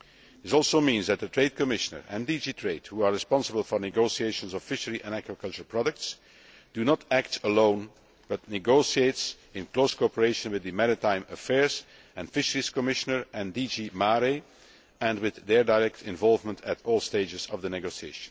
This also means that the Trade Commissioner and DG TRADE, who are responsible for negotiations of fishery and aquaculture products, do not act alone, but negotiate in close cooperation with the Maritime Affairs and Fisheries Commissioner and DG MARE and with their direct involvement at all stages of the negotiations.